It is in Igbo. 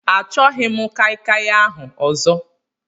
Achọghị m kai kai ahụ ọzọ.